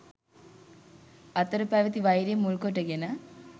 අතර පැවැති වෛරය මුල් කොටගෙන